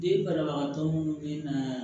Den banabagatɔ minnu bɛ na